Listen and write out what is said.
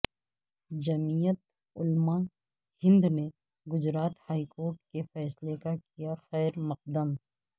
جمعیت علماء ہند نے Gujarat high court کے فیصلے کا کیا خیر مقدم